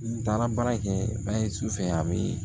N taara baara kɛ ba ye su fɛ a be